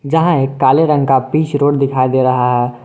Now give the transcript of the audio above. जहां एक काले रंग का बीच रोड दिखाई दे रहा है।